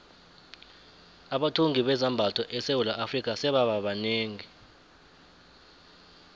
abathungi bezambatho esewula afrika sebaba banengi